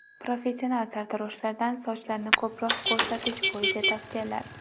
Professional sartaroshlardan sochlarni ko‘proq ko‘rsatish bo‘yicha tavsiyalar.